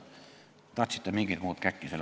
Teie tahtsite selle asemel mingit käkki.